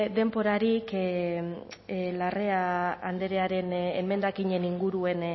denborarik larrea andrearen emendakinen inguruan